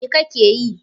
What are you doing?